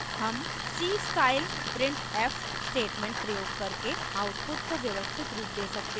हम c style printf statement प्रयोग करके output को व्यवस्थित रूप we सकते हैं